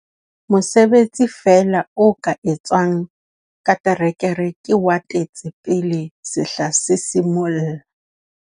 Mosebetsi feela o ka etswang ka terekere ke wa tetse pele sehla se simolla.